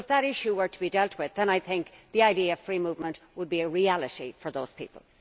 If that issue were to be dealt with then I think the idea of free movement would be a reality for those people.